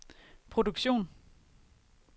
produktion